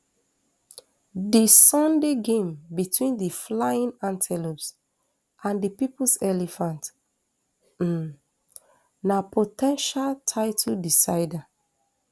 di sunday game between di flying antelopes and di peoples elephant um na po ten tial title decider